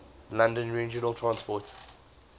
london regional transport